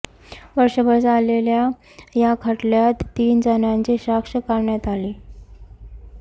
वर्षभर चाललेल्या या खटल्यात तीन जणांची साक्ष काढण्यात आली